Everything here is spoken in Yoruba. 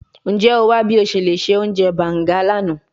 Njẹ o wa bi o ṣe le ṣe ounjẹ banga lana?